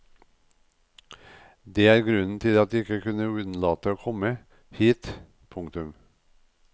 Det er grunnen til at jeg ikke kunne unnlate å komme hit. punktum